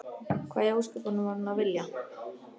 Hvað í ósköpunum var hún að vilja?